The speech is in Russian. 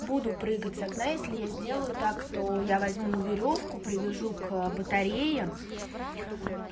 буду прыгать с окна если я сделаю так то я возьму верёвку привяжу к батарее